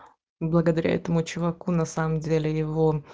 благодаря этому чуваку на самом деле его